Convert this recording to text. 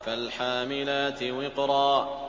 فَالْحَامِلَاتِ وِقْرًا